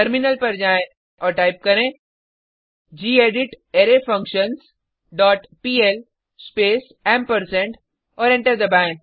terminal पर जाएँ और टाइप करें gedit array functions dot PL space ampersand और एंटर दबाएँ